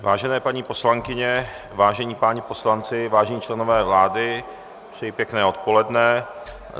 Vážené paní poslankyně, vážení páni poslanci, vážení členové vlády, přeji pěkné odpoledne.